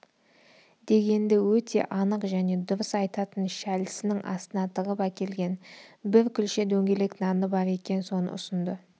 дегенді өте анық және дұрыс айтатын шәлісінің астына тығып әкелген бір күлше дөңгелек наны бар екен соны ұсынды